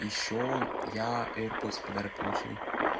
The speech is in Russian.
ещё я аирподс в подарок получил